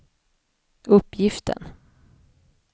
uppgiften